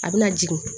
A bɛna jigin